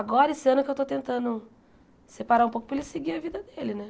Agora esse ano que eu estou tentando separar um pouco para ele seguir a vida dele, né?